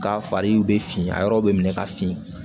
Ka fariw bɛ fin a yɔrɔw bɛ minɛ ka fin